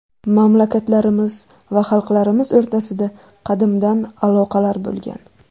Mamlakatlarimiz va xalqlarimiz o‘rtasida qadimdan aloqalar bo‘lgan.